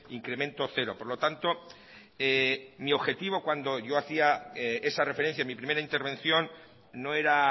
incremento cero por lo tanto mi objetivo cuando yo hacía esa referencia en mi primera intervención no era